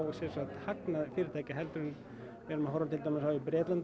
hagnað fyrirtækja en við erum að horfa á til dæmis í Bretlandi